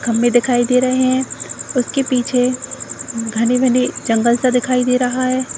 खम्भे दिखाई दे रहे हैं। उसके पीछे घने-घने जंगल सा दिखाई दे रहा है।